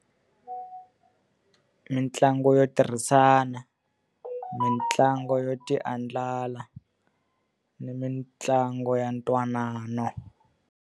Mintlangu yo tirhisana, mitlangu yo ti andlala, ni mitlangu ya ntwanano.